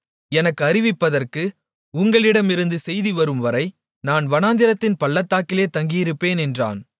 எனக்கு அறிவிப்பதற்கு உங்களிடமிருந்து செய்தி வரும்வரை நான் வனாந்திரத்தின் பள்ளத்தாக்கிலே தங்கியிருப்பேன் என்றான்